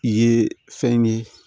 I ye fɛn ye